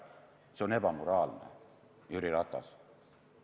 See on ebamoraalne, Jüri Ratas.